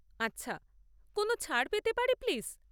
আচ্ছা, কোনও ছাড় পেতে পারি, প্লিজ?